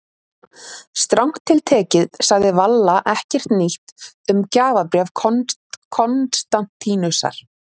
Strangt til tekið sagði Valla ekkert nýtt um gjafabréf Konstantínusar.